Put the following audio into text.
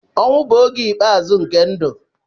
Ọnwụ bụ oge ikpeazụ nke ndụ.